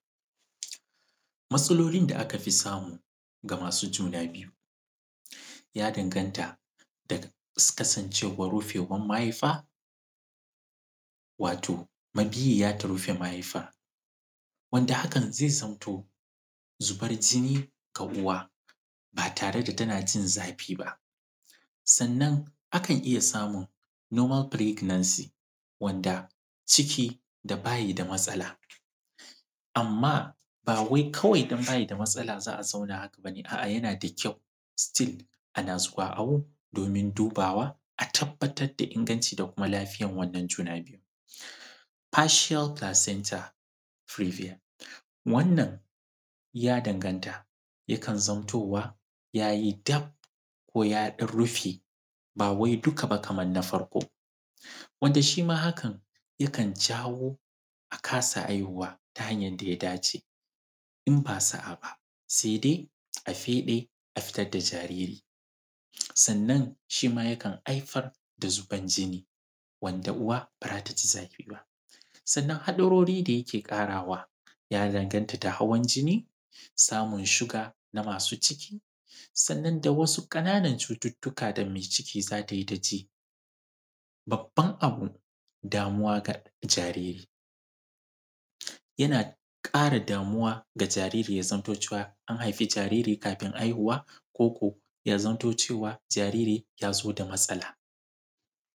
Matsalolin da aka fi samu ga masu juna biyu, ya danganta daga kasancewar rufewar mahaifa, wato mabiyiya ta rufe mahaifa, wanda hakan zai zamto, zubar jini ga uwa ba tare da tana jin zafi ba. Sannan, akan iya samun normal pregnancy, wanda ciki da ba yi da matsala, amma ba wai kawai dan ba yi da matsala za a zauna haka ba ne, a’a, yana da kyau still ana zuwa awo domin dubawa a tabbatar da ingancin da kuma lafiyan wannan juna biyu. Partial Placenta Previa, Wannan, ya danganta, yakan zantowa ya yi dab, ko ya ɗan rufe, ba wai duka ba kaman na farko, wanda shi ma hakan, yakan jawo a kasa haihuwa ta hanyan da ya dace. In ba sa’a ba, sai dai a feɗe, a fitar da jariri. Sannan, shi ma yakan haifar da zubar jini, wanda uwa ba za ta ji zafi ba. Sannan haɗarori da yake ƙarawa, ya danganta da hawan jini, samun shuga na masu ciki, sannan da wasu ƙananan cututtuka da me ciki za ta yi ta ji. Babban abu, damuwa ga jajiri. Yana ƙara damuwa ga jajiri ya zamto cewa an haifi jariri kafin haihuwa, ko ko ya zamto cewa jariri ya zo da matsala.